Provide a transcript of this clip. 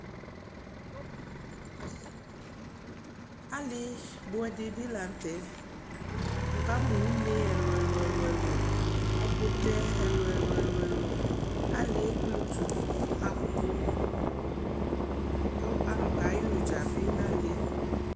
Alɩbʋɛ dɩ bɩ la nʋ tɛ Wʋkamʋ une ɛlʋ-ɛlʋ ɛlʋ-ɛlʋ Ɛkʋtɛ ɛlʋ-ɛlʋ ɛlʋ-ɛlʋ Alɩ yɛ ekpletu nʋ apʋ kʋ alʋ kayɛ ʋdza bɩ nʋ alɩ yɛ